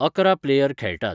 अकरा प्लेयर खेळटात